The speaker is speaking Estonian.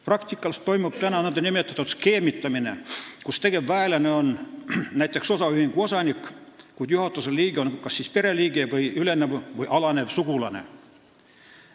Praktikas toimub praegu nn skeemitamine: tegevväelane on näiteks osaühingu osanik, kuid juhatuse liige on kas pereliige või ülenev või alanev sugulane.